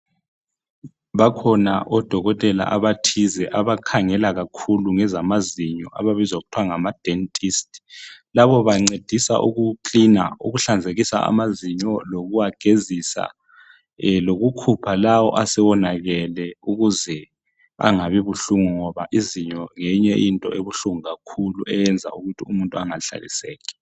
Bakhona odokotela abathize abakhangela ngezamazinyo. Ababizwa kuthwa ngamadentist. Labo bancedisa ukuhlamba amazinyo lokuwagezisa lokukhupha lawo asewonakele ukuze angabi buhlungu ngoba izinyo ngeyinye into ebuhlungu kakhulu eyenza umuntu engahlaliseki.